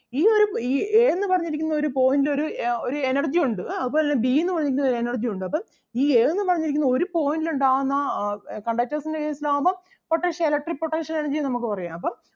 ഈ ഒരു A എന്ന് പറഞ്ഞിരിക്കുന്ന ഒരു point ഒരു ആഹ് ഒരു energy ഒണ്ട് ആഹ് അതുപോലെ തന്നെ B എന്ന് പറഞ്ഞിരിക്കുന്നതിനും ഒരു energy ഉണ്ട് അപ്പം ഈ A എന്ന് പറഞ്ഞിരിക്കുന്ന ഒരു point ൽ ഉണ്ടാകുന്ന ആഹ് conductors ൻ്റെ case ൽ ആകുമ്പം potential electric potential energy യെ നമുക്ക് പറയാം അപ്പം